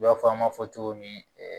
I b'a fɔ an b'a fɔ cogo min